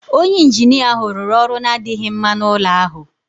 Onye injinia ahụ rụrụ ọrụ na-adịghị mma n'ụlọ ahụ